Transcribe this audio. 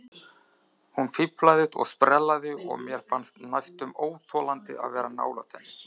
Hún fíflaðist og sprellaði og mér fannst næstum óþolandi að vera nálægt henni.